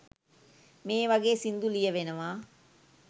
මේ වගේ සින්දු ලියැවෙනවා